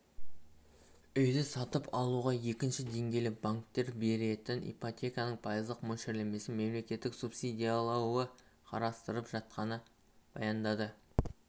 үйді сатып алуға екінші деңгейлі банктер беретін ипотеканың пайыздық мөлшерлемесін мемлекеттің субсидиялауы қарастырылып жатқанын баяндады